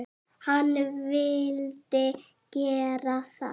Hann vildi gera það.